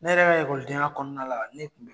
Ne yɛrɛ ka den ya kɔnɔna la ne kun bi